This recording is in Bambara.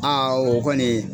Aa o kɔni